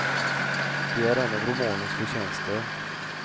Det är en av romanens förtjänster.